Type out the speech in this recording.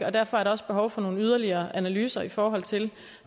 og derfor er der også behov for nogle yderligere analyser i forhold til